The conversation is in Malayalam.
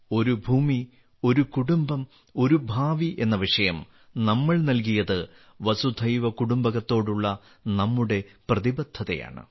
ഒരു ഭൂമി ഒരു കുടുംബം ഒരു ഭാവി എന്ന വിഷയം നമ്മൾ നൽകിയത് വസുധൈവ കുടുംബകത്തോടുള്ള നമ്മുടെ പ്രതിബദ്ധതയാണ്